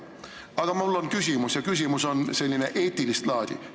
Aga mul on küsimus ja see küsimus on eetilist laadi.